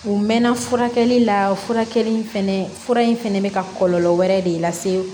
U mɛɛnna furakɛli la furakɛli in fɛnɛ fura in fɛnɛ bɛ ka kɔlɔlɔ wɛrɛ de lase